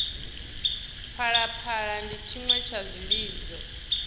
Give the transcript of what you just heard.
phalaphala ndi tshiṅwe tsha zwilidzo